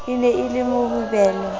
e ne e le mohobelo